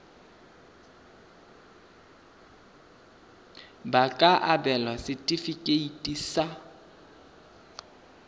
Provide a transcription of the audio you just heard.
ba ka abelwa setefikeiti sa